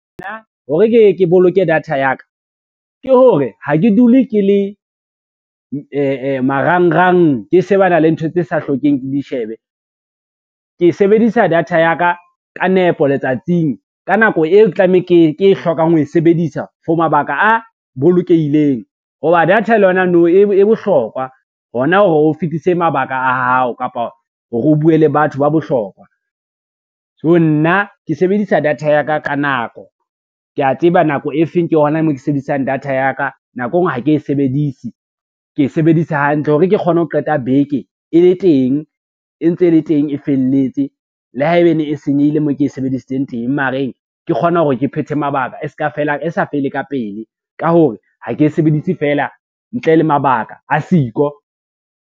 Nna hore ke ye ke boloke data ya ka, ke hore ha ke dule ke le marangrang, ke shebana le ntho tse sa hlokeng di shebe. Ke sebedisa data ya ka ka nepo letsatsing ka nako eo ke tlamehang ke hlokang ho e sebedisa for mabaka a bolokehileng ho ba data le yona nou e bohlokwa, hona ho fetise mabaka a hao kapa hore o bue le batho ba bohlokwa. So nna ke sebedisa data ya ka ka nako, kea tseba nako e feng ke ho na moo ke sebedisang data ya ka, nako e ngwe ha ke e sebedise ke e sebedisa hantle hore ke kgone ho qeta beke e le teng, e ntse e le teng e felletse. Le haebene e senyehile moo ke e sebedisitseng teng mareng, ke kgone hore ke phethe mabaka e sa fele ka pele, ka hore ha ke e sebedise fela ntle le mabaka a siko.